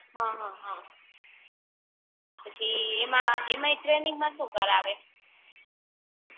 આહ હ હ પછી એમાં એમાંય ટ્રેનિંગ માં સુ કરાવે